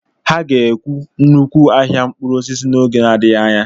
Ha ga-ewu nnukwu ahịa mkpụrụ osisi n'oge n' adịghị anya.